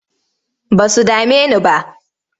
Ba su dame ni ba.